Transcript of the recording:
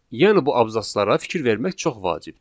Yəni bu abzaslara fikir vermək çox vacibdir.